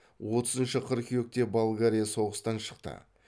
отызыншы қыркүйекте болгария соғыстан шықты